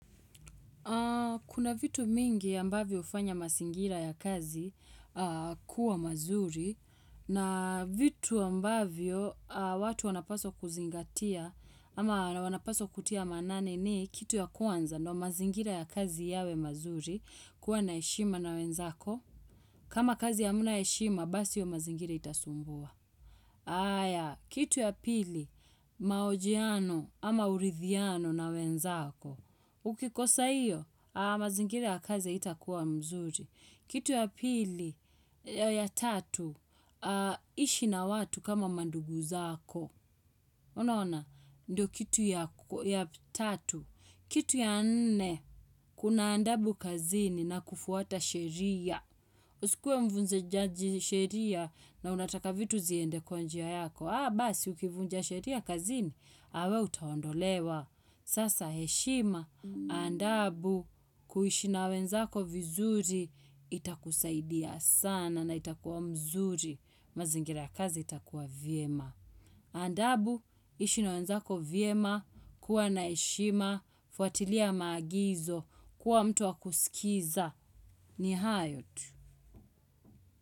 Kuna vitu mingi ambavyo hufanya mazingira ya kazi kuwa mazuri na vitu ambavyo watu wanapaswa kuzingatia ama wanapaswa kutia manane ni kitu ya kwanza ndo mazingira ya kazi yawe mazuri kuwa na heshima na wenzako. Kama kazi hamna heshima, basi hiyo mazingira itasumbua. Aya, kitu ya pili, mahojiano ama urithiano na wenzako. Ukikosa hiyo, mazingira ya kazi haitakuwa mzuri. Kitu ya pili ya tatu, ishi na watu kama mandugu zako. Unaona, ndio kitu ya tatu. Kitu ya nne, kuna adabu kazini na kufuata sheria. Usikuwe mvunze jaji sheria na unataka vitu ziende kwa njia yako. Haa basi ukivunja sheria kazini, we utaondolewa. Sasa heshima, adabu, kuishi na wenzako vizuri, itakusaidia sana na itakuwa mzuri. Mazingira ya kazi itakuwa vyema. Adabu, ishi na wenzako vyema, kuwa na heshima, fuatilia maagizo, kuwa mtu wa kusikiza. Ni hayo tu.